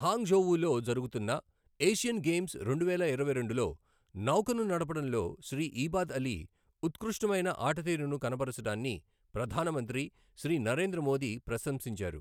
Hong ఝోవూలో జరుగుతున్న Asian Games రెండువేల ఇరవైరెండులో నౌకను నడపడంలో శ్రీ ఈబాద్ అలీ ఉత్కృష్టమైన ఆటతీరును కనబరచడాన్ని ప్రధాన మంత్రి శ్రీ నరేంద్ర మోదీ ప్రశంసించారు.